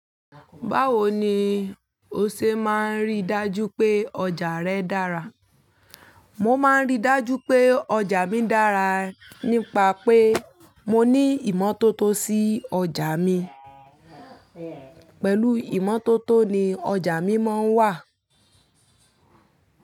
Báwo ni o ṣe máa ń rí dájú pé ọjà rẹ dára? Mo maa n ri daju pe oja mi dara nipa pe mo ni imo toto si oja mi pẹ̀lú ìmọ́tótó ni ọjà mi máa ń wà.